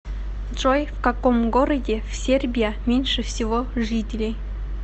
джой в каком городе в сербия меньше всего жителей